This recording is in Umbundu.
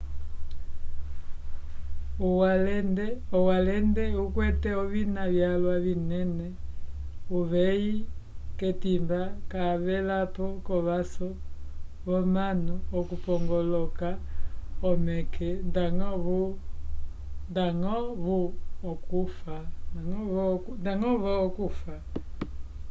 owalende ukwete ovina vyalwa vinena uveyi k'etimba cavelapo k'ovaso vomanu okupongoloka omeke ndñgo-vo okufa